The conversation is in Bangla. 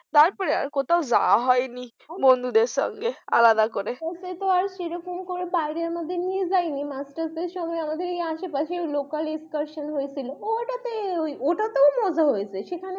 তারপর আর কোথাও যাওয়া হয়নি বন্ধুদের সঙ্গে আলাদা করে আশেপাশে local excursion এ যাওয়া হয়েছে, ওটাতে মজা হয়েছিল।